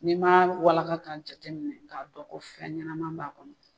N'i ma walaka k'a jateminɛ k'a dɔn ko fɛn ɲɛnaman b'a kɔnɔ.